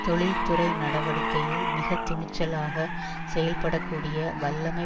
தொழிற்துறை நடவடிக்கையில் மிக துணிச்சலாக செயல்படக்கூடிய வல்லமை